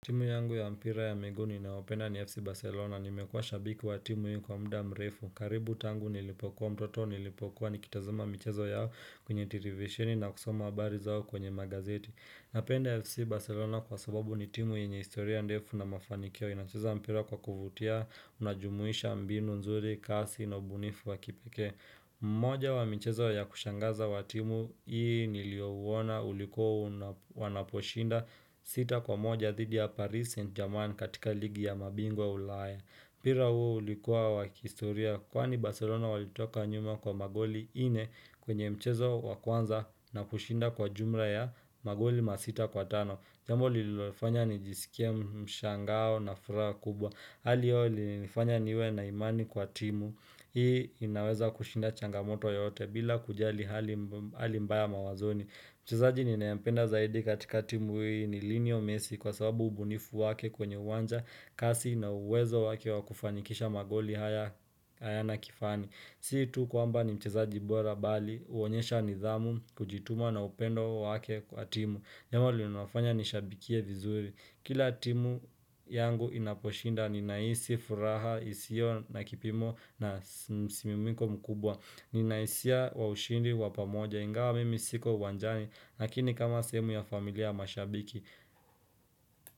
Timu yangu ya mpira ya miguu ni inaopenda ni FC Barcelona, nimekuwa shabiki wa timu hiyo kwa mda mrefu, karibu tangu nilipokuwa mtoto nilipokuwa nikitazama michezo yao kwenye televisheni na kusoma habari zao kwenye magazeti. Napenda FC Barcelona kwa sababu ni timu yenye historia ndefu na mafanikio, inacheza mpira kwa kuvutia, unajumuisha mbinu, nzuri, kasi, na ubunifu wa kipekee. Moja wa mmchezo ya kushangaza watimu Hii niliouona uliku wanaposhinda sita kwa moja thidi ya Paris Saint-Germain katika ligi ya mabingwa ulaya mPira huu ulikuwa wakihistoria kwani Barcelona walitoka nyuma kwa magoli nne kwenye mchezo wakwanza na kushinda kwa jumla ya magoli masita kwa tano Jambo lilofanya nijisike mshangao na furaha kubwa Hali hio ililofanya niwe na imani kwa timu Hii inaweza kushinda changamoto yote bila kujali halimbaya mawazoni Mchezaji ninayempenda zaidi katika timu hii ni lionel messi kwa sababu ubunifu wake kwenye uwanja kasi na uwezo wake wakufanikisha magoli hayana kifani Siitu kwamba ni mchezaji bora bali huonyesha nidhamu kujituma na upendo wake kwa timu Jambo linalofanya nishabikie vizuri Kila timu yangu inaposhinda ni nahisi, furaha, isio na kipimo na simimiko mkubwa ni nahisia wa ushindi, wapamoja, ingawa mimi siko uwanjani lakini kama sehemu ya familia ya mashabiki.